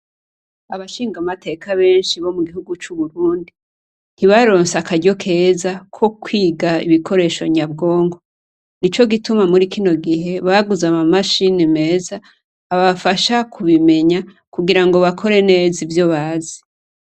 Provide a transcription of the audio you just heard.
Abashingamateka benshi bo gihugu c'Uburundi, ntibaronse akaryo keza ko kwiga ibikoresho nyabwonko. Nico gituma muri kino gihe baguze ama mashini meza abafasha kubimenya kugira ngo bakore neza ivyo bazi.